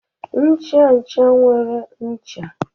Ncha ncha nwere ncha